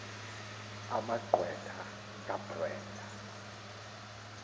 ama gqwetha kabrenda